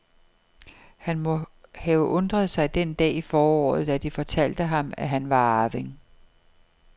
Han må have undret sig den dag i foråret, da de fortalte ham, at han var arving.